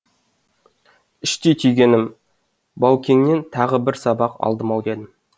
іштей түйгенім баукеңнен тағы бір сабақ алдым ау дедім